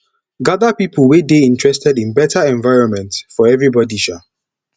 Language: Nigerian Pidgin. gather people wey dey interested in better environment for everybody um